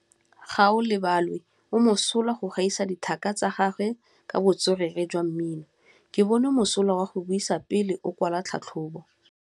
Gaolebalwe o mosola go gaisa dithaka tsa gagwe ka botswerere jwa mmino. Ke bone mosola wa go buisa pele o kwala tlhatlhobô.